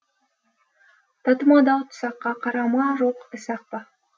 татымады ау тұсаққа қара ма жоқ ісі ақ па